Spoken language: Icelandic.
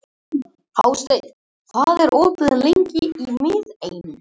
Magnús: Þið notið fæturna mikið til að halda þeim, eða hvað?